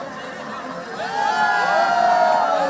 Qarabağ!